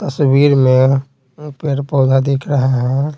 तस्वीर में पेड़-पौधा दिख रहा है।